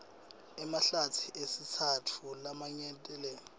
emahlatsi esitsatfu laminyetelene